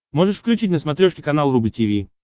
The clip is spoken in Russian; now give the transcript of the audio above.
можешь включить на смотрешке канал рубль ти ви